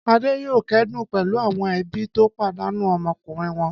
Adé yóò kẹ́dùn pẹ̀lú àwọn ẹbí tó pàdánù ọmọkùnrin wọn.